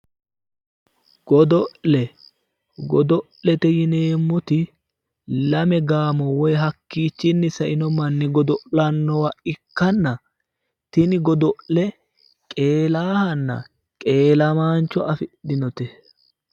godo'le godo'lete yineemmoti lame gaamo woyi hakkiichinni saino manni godo'lannowa ikkanna tini godo'le qeelaahanna qeelamaancho afidhinote.